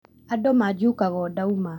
Andũ manjukaga o ndauma